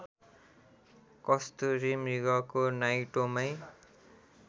कस्तुरी मृगको नाइटोमै